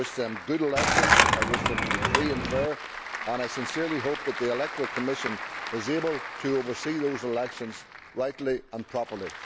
I wish them good elections, I wish them to be free and fair, and I sincerely hope that the electoral commission is able to oversee those elections rightly and properly.